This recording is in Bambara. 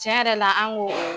Cɛn yɛrɛ la an ko o